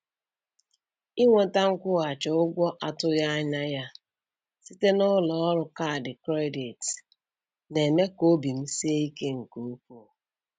Inweta nkwụghachi ụgwọ a tụghị anya ya site n’ụlọ ọrụ kaadị kredit na-eme ka obi m sie ike nke ukwuu.